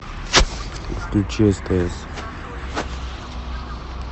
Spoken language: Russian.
включи стс